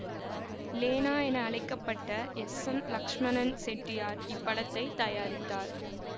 லேனா என அழைக்க பட்ட எஸ் எம் லட்சுமணன் செட்டியார் இப்படத்தைத் தயாரித்தார்